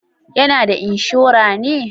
Ya na da inshora ne